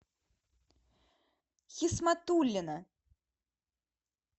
хисматуллина